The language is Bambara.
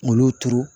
Olu turu